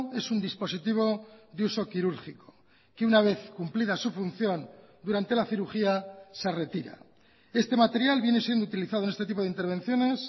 es un dispositivo de uso quirúrgico que una vez cumplida su función durante la cirugía se retira este material viene siendo utilizado en este tipo de intervenciones